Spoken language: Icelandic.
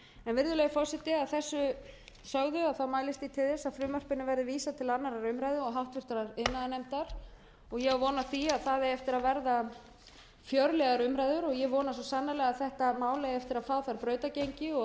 virðulegi forseti að þessu sögðu mælist ég til að frumvarpinu verði vísað til annarrar umræðu og háttvirtur iðnaðarnefndar og ég á von á því að það eigi eftir að verða fjörlegum umræður og ég vona svo sannarlega að þetta mál eigi eftir að fá þar brautargengi og